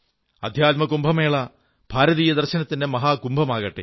അധ്യാത്മ കുംഭമേള ഭാരതീയ ദർശനത്തിന്റെ മഹാകുംഭമാകട്ടെ